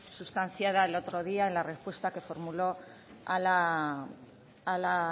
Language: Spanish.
sustanciada el otro día en la respuesta que formuló a la